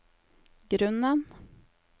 grunnen